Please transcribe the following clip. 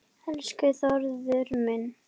Elsku Þórður minn.